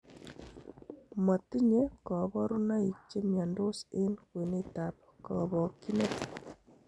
Motinye koborunoik chemiondos en kwenetab kobokyinet.